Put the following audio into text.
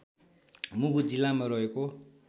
मुगु जिल्लामा रहेको